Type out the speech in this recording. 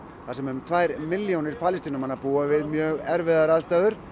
þar sem um tvær milljónir Palestínumanna búa við mjög erfiðar aðstæður